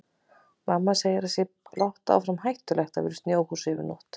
Mamma segir að það sé blátt áfram stórhættulegt að vera í snjóhúsi yfir nótt.